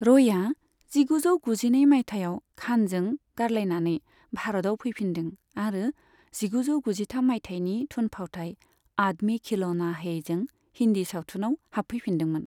रयआ जिगुजौ गुजिनै माइथायाव खानजों गारलायनानै भारताव फैफिनदों आरो जिगुजौ गुजिथाम माइथायनि थुनफावथाय 'आदमी खिलौना है'जों हिन्दी सावथुनाव हाबफैफिनदोंमोन।